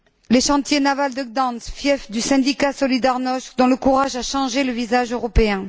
Les chantiers navals de Gdansk, fief du syndicat Solidarność, dont le courage a changé le visage européen.